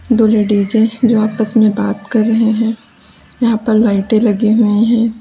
दो लेडीजे जो आपस में बात कर रहे हैं यहां पर लाइटें लगी हुई हैं।